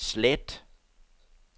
slet